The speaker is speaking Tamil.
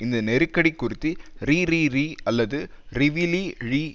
இந்த நெருக்கடி குறித்து றிறிறி அல்லது றிவிலி ழி